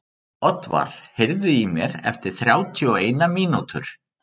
Oddvar, heyrðu í mér eftir þrjátíu og eina mínútur.